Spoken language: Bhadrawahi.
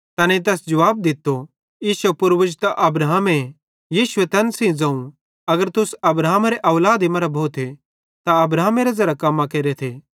तैनेईं तैस जुवाब दित्तो इश्शो पूर्वज त अब्राहमे यीशुए तैन सेइं ज़ोवं अगर तुस अब्राहमेरे औलादी मरां भोथे त अब्राहमेरां ज़ेरां कम्मां केरेथ